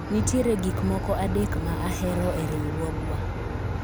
nitiere gik moko adek ma ahero e riwruogwa